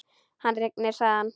Hann rignir, sagði hann.